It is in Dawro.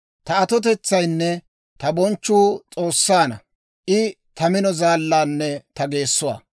Ta atotetsaynne ta bonchchuu S'oossaanna; I ta mino zaallaanne ta geessuwaa.